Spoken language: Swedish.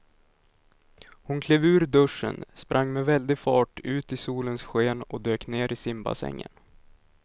Hon klev ur duschen, sprang med väldig fart ut i solens sken och dök ner i simbassängen.